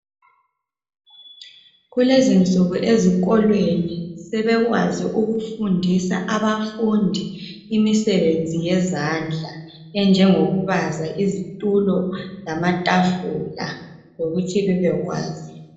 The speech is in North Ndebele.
Kulezinsuku ezikolweni sebekwazi ukufundisa abafundi imisebenzi yezandla enjengoku baza, izitulo lamatafula lokuthi bebekwazi.